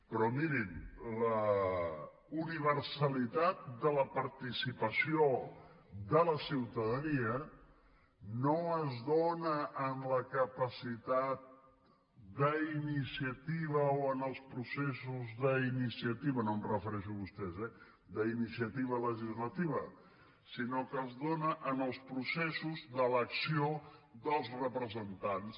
però mirin la universalitat de la participació de la ciutadania no es dóna en la capacitat d’iniciativa o en els processos d’iniciativa no em refereixo a vostès eh legislativa sinó que es dóna en els processos d’elecció dels representants